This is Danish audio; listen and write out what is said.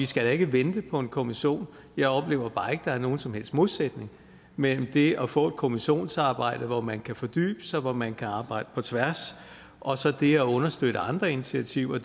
skal vente på en kommission jeg oplever bare ikke at der er nogen som helst modsætning mellem det at få et kommissionsarbejde hvor man kan fordybe sig og hvor man kan arbejde på tværs og så det at understøtte andre initiativer